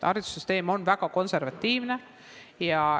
Haridussüsteem on väga konservatiivne.